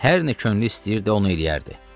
Hər nə könlü istəyirdi, onu eləyərdi.